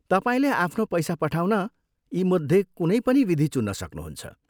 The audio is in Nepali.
तपाईँले आफ्नो पैसा पठाउन यीमध्ये कुनै पनि विधि चुन्न सक्नुहुन्छ।